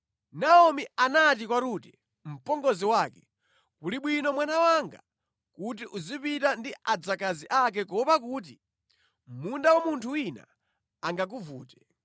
Naomi anati kwa Rute mpongozi wake, “Kuli bwino mwana wanga kuti uzipita ndi adzakazi ake kuopa kuti mʼmunda wa munthu wina angakuvute.”